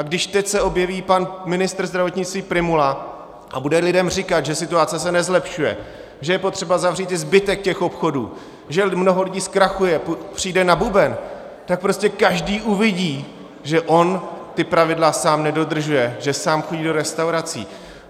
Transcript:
A když teď se objeví pan ministr zdravotnictví Prymula a bude lidem říkat, že situace se nezlepšuje, že je potřeba zavřít i zbytek těch obchodů, že mnoho lidí zkrachuje, přijde na buben, tak prostě každý uvidí, že on ta pravidla sám nedodržuje, že sám chodí do restaurací.